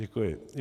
Děkuji.